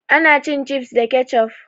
Ana cin cifs da kecof